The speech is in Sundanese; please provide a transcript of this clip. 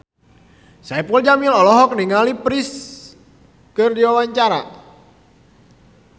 Saipul Jamil olohok ningali Prince keur diwawancara